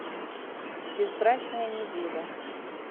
безбрачная неделя